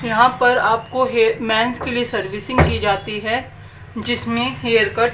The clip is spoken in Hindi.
यहां पर आपको है हे मेंस के लिए सर्विसिंग की जाती है जिसमें हेयर कट --